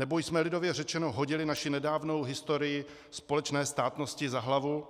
Nebo jsme lidově řečeno hodili naši nedávnou historii společné státnosti za hlavu